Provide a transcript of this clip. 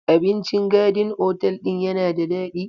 Abincin Garden otal ɗin yana da daɗi.